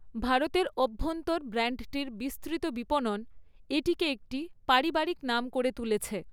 ভারতের অভ্যন্তর ব্র্যান্ডটির বিস্তৃত বিপণন এটিকে একটি পরিবারিক নাম করে তুলেছে।